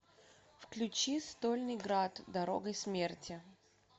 включи стольный градъ дорогой смерти